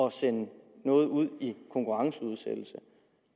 at sende noget ud i konkurrenceudsættelse